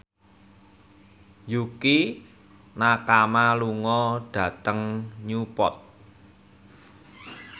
Yukie Nakama lunga dhateng Newport